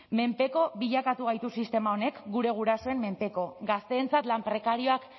menpeko bilakatu gaitu sistema honek gure gurasoen menpeko gazteentzat lan prekarioak